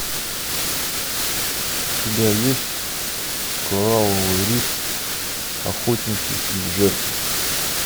у тебя есть коралловый риф охотники и жертвы